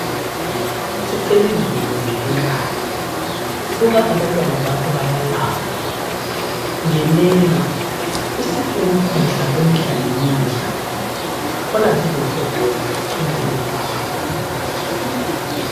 Sicel'izulu mvelinqangi. Buka abantwana bakho bayalamba, ngenela, usiphe ukudla kwemihla lemihla. Khona zizothokoza, ingane zakho.